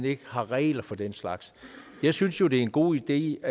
ikke er regler for den slags jeg synes jo det er en god idé